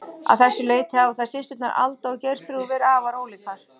Að þessu leyti hafa þær systurnar, Alda og Geirþrúður, verið afar ólíkar.